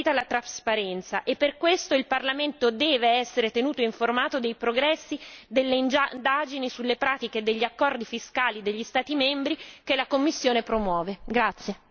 Non esiste concorrenza se non viene garantita la trasparenza e per questo il Parlamento deve essere tenuto informato dei progressi delle indagini sulle pratiche degli accordi fiscali degli Stati membri che la Commissione promuove.